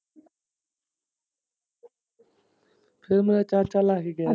ਫਿਰ ਮੇਰਾ ਚਾਚਾ ਲਾ ਕੇ ਗਿਆ।